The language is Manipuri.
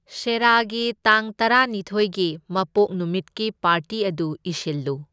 ꯁꯦꯔꯥꯒꯤ ꯇꯥꯡ ꯇꯔꯥꯅꯤꯊꯣꯏꯒꯤ ꯃꯄꯣꯛ ꯅꯨꯃꯤꯠꯀꯤ ꯄꯥꯔꯇꯤ ꯑꯗꯨ ꯏꯁꯤꯜꯂꯨ꯫